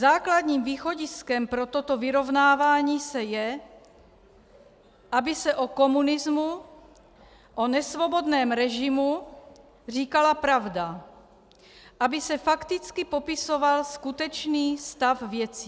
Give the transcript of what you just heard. Základním východiskem pro toto vyrovnávání se je, aby se o komunismu, o nesvobodném režimu, říkala pravda, aby se fakticky popisoval skutečný stav věcí.